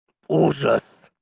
ужас